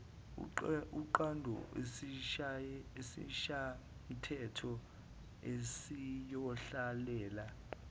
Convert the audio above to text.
uqonde esishayamthetho esiyohlalela